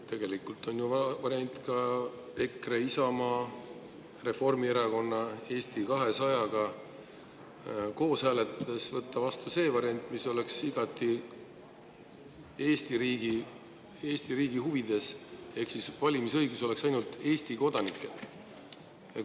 Tegelikult on ju variant ka see, et EKRE, Isamaa, Reformierakond ja Eesti 200 koos hääletades võtavad vastu selle variandi, mis oleks igati Eesti riigi huvides, ehk valimisõigus oleks ainult Eesti kodanikel.